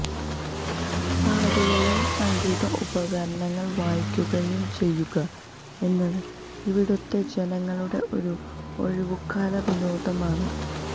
പാടുകയും സംഗീത ഉപകരണങ്ങൾ വായിക്കുകയും ചെയ്യുക എന്നത് ഇവിടുത്തെ ജനങ്ങളുടെ ഒരു ഒഴിവുകാല വിനോദം ആണ്